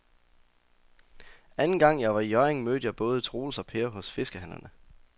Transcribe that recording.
Anden gang jeg var i Hjørring, mødte jeg både Troels og Per hos fiskehandlerne.